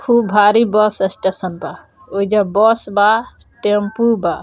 खुब भारी bus station बा ओइजा बस बा टैम्पू बा।